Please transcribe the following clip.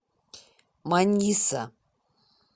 маниса